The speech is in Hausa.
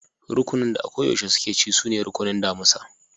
Rukunin da a ko yaushe suke ci sune rukunin damusa.